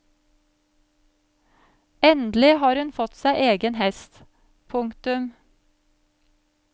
Endelig har hun fått seg egen hest. punktum